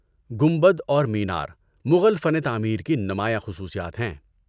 گنبد اور مینار مغل فن تعمیر کی نمایاں خصوصیات ہیں۔